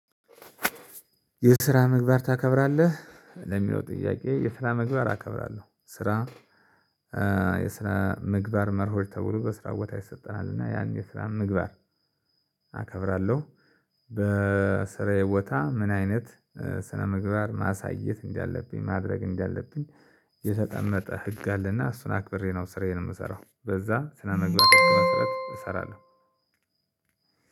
የስራ ምግባር ታከብራለህ ለሚለው ጥያቄ? የስራ ምግባር አከብራለሁ ስራ የስራ ምግባር መርሆች ተብሎ በስራ ቦታ ይሰጠናል እና ያን የስራ ምግባር አከብራለሁ። በስራዬ ቦታ ምን አይነት ስነምግባር ማሳየት እንዳለብኝ ማድረግ እንዳለብኝ። የተቀመጠ ህግ አለ እና እሱን አክብሬ ነው ስራዬን የምሰራው በዛ ስነመግባር መሰረት እሰራለሁ።